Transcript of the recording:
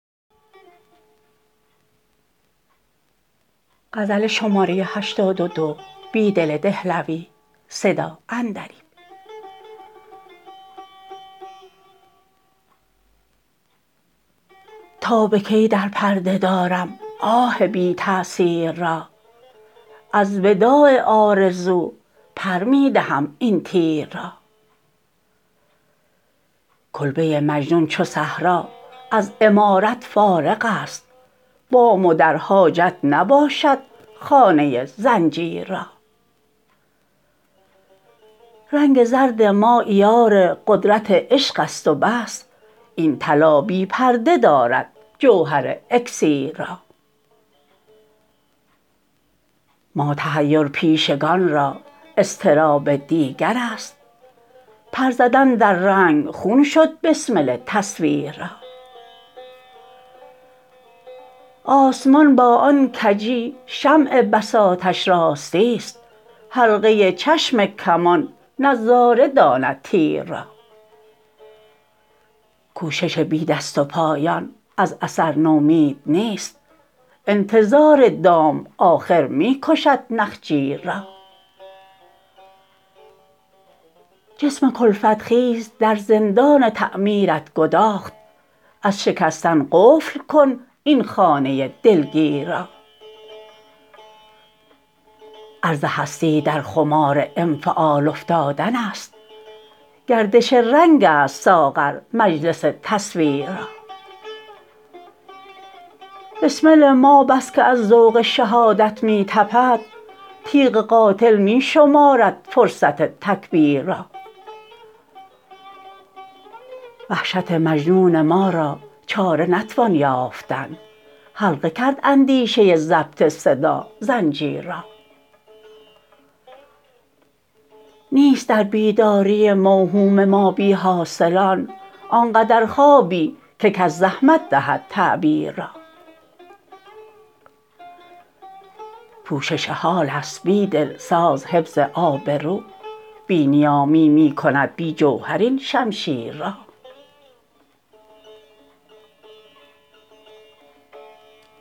تا به کی در پرده دارم آه بی تأثیر را از وداع آرزو پر می دهم این تیر را کلبه مجنون چوصحرا ازعمارت فارغ است بام و در حاجت نباشد خانه زنجیر را رنگ زردما عیار قدرت عشق است وبس این طلا بی پرده دارد جوهر اکسیر را ما تحیرپیشگان را اضطراب دیگر است پرزدن در رنگ خون شد بسمل تصویر را آسمان باآن کجی شمع بساطش راستی است حلقه چشم کمان نظاره داند تیر را کوشش بی دست و پایان از اثر نومید نیست انتظار دام آخر می کشد نخجیر را جسم کلفت خیز در زندان تعمیرت گداخت از شکستن قفل کن این خانه دلگیر را عرض هستی در خمار انفعال افتادن است گردش رنگ است ساغر مجلس تصویر را بسمل ما بسکه از ذوق شهادت می تپد تیغ قاتل می شمارد فرصت تکبیر را وحشت مجنون ما را چاره نتوان یافتن حلقه کرد اندیشه ضبط صدا زنجیر را نیست در بیداری موهوم ما بیحاصلان آنقدر خوابی که کس زحمت دهد تعبیر را پوشش حال است بیدل ساز حفظ آبرو بی نیامی می کند بی جوهر این شمشیر را